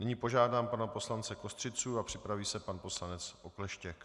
Nyní požádám pana poslance Kostřicu a připraví se pan poslanec Okleštěk.